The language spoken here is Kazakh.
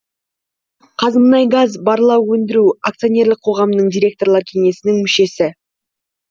қазмұнайгаз барлау өндіру акционерлік қоғамының директорлар кеңесінің мүшесі